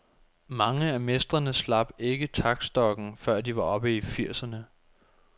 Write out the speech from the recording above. Mange af mestrene slap ikke taktstokken, før de var oppe i firserne.